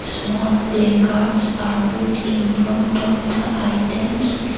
small play cards are put in front of the items.